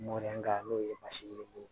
Mɔdɛli ka n'o ye basidon ye